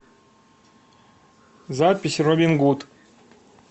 запись робин гуд